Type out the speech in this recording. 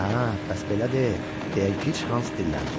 Hə, bəs belədi, deyə gic Hans dilləndi.